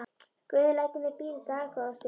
Guð lætur mig bíða dágóða stund.